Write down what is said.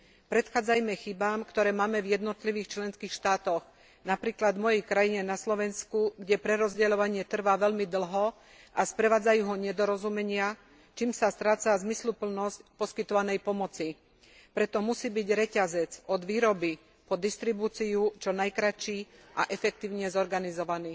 Predchádzajme chybám, ktoré máme v jednotlivých členských štátoch, napríklad v mojej krajine, na Slovensku, kde prerozdeľovanie trvá veľmi dlho a sprevádzajú ho nedorozumenia, čím sa stráca zmysluplnosť poskytovanej pomoci. Preto musí byť reťazec od výroby po distribúciu čo najkratší a efektívne zorganizovaný.